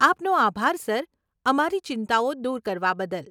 આપનો આભાર સર, અમારી ચિંતાઓ દૂર કરવા બદલ.